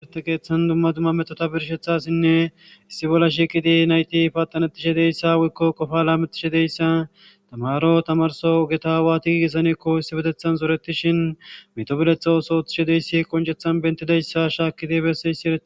Dumma dumma metota birshshanas timertte keeththan diza Asati zoreetizayssa besses.